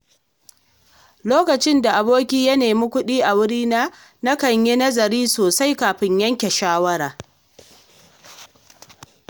Lokacin da aboki ya nemi kuɗi a wurina, nakan yi nazari sosai kafin yanke shawara.